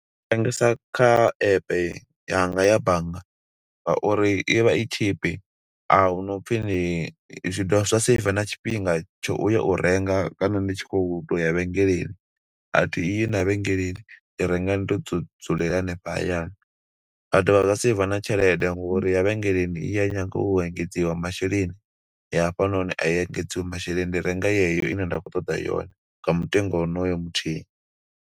Rengesa kha app yanga ya bannga, nga uri ivha i tshipi, ahuna upfi ndi. Zwi dovha zwa seiva na tshifhinga tsho u ya u renga, kana ndi tshi khou to ya vhengeleni. A thiyi na vhengeleni, ndi renga ndo dzu dzulela hanefha hayani. Zwa dovha vha seiva na tshelede ngo uri ya vhengeleni i ya nyanga u engedziwa masheleni, ya hafhanoni a i engedziwi masheleni. Ndi renga ye yo ine nda khou ṱoḓa yone, nga mutengo wonoyo muthihi.